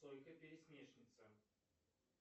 сойка пересмешница